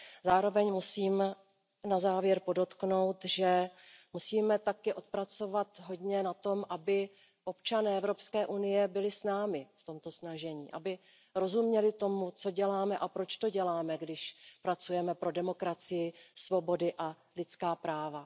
Zároveň musím na závěr podotknout, že musíme také pracovat hodně na tom, aby občané Evropské unie byli s námi v tomto snažení, aby rozuměli tomu, co děláme a proč to děláme, když pracujeme pro demokracii, svobody a lidská práva.